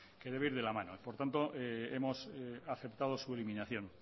que debe ir de la mano por tanto hemos aceptado su eliminación